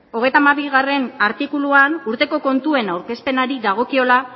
hogeita hamabigarrena artikuluan urteko kontuen aurkezpenari dagokiola